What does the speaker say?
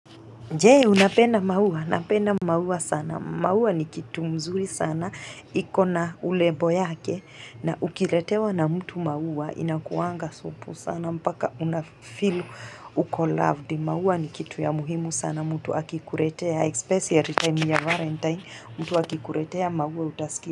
Jee, unapenda maua? Napenda maua sana, maua ni kitu mzuri sana, ikona urembo yake, na ukiletewa na mtu maua, inakuanga supu sana, mpaka unafeel, uko loved, maua ni kitu ya muhimu sana, mtu akikuletea, especially time ya valentine, mtu akikuletea, maua utasikia.